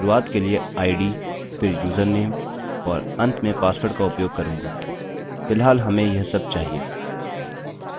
मैं शुरूआत के लिए id फिर user name और अंत में password का उपयोग करूँगा फिलहाल हमें यह सब चाहिए